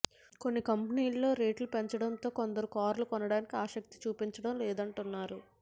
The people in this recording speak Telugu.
కొన్ని కంపెనీలు రేట్లు పెంచడంతో కొందరు కార్లు కొనడానికి ఆసక్తి చూపించడం లేదంటున్నారు